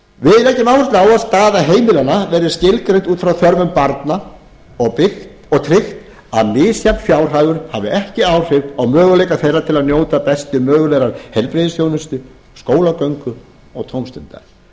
við leggjum áhersla á að staða heimilanna verði skilgreind út frá þörfum barna og tryggt að misjafn fjárhagur hafi ekki áhrif á möguleika þeirra til að njóta bestu mögulegrar heilbrigðisþjónustu skólagöngu og tómstunda það